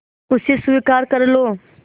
उसे स्वीकार कर लो